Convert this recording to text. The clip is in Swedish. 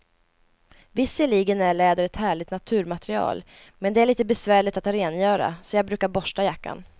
Visserligen är läder ett härligt naturmaterial, men det är lite besvärligt att rengöra, så jag brukar borsta jackan.